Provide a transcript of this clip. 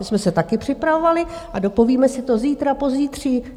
My jsme se taky připravovali a dopovíme si to zítra, pozítří.